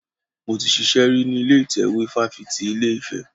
Mo ti ṣiṣẹ́ rí ní ilé ìtẹ́wé fáfitì ilé Ifẹ̀.